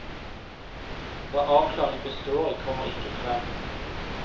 Hva avklaringen består i, kommer ikke frem.